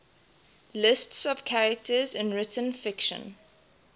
lists of characters in written fiction